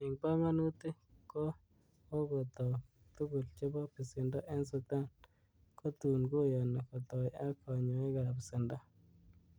En pongonutik, kokoitoik tugul chebo besendo en Sudan, kutun koyoni kotoi ak konyochigat besendo.